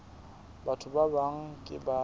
batho ba bang ke ba